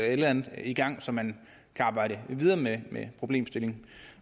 eller andet i gang så man kan arbejde videre med problemstillingen